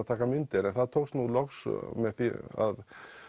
að taka myndir en það tókst nú loks með því að